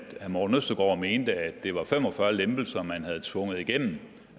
morten østergaard mente at det var fem og fyrre lempelser man havde tvunget igennem